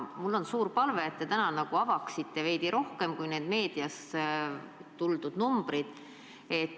Mul on suur palve, et te täna avaksite veidi rohkem kui need meediast tulnud numbrid.